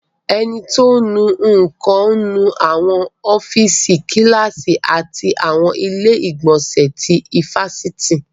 Ẹni tí ò ń nu nǹkan ń nu àwọn ọ́fíìsì, Kíláàsì àti àwọn ilé ìgbọ̀nsẹ̀ ti ifásitì